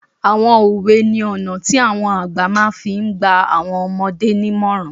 Àwọn òwe ní ọ̀nà tí àwọn àgbà máa fi n gba àwọn ọmọdé nímọ̀ràn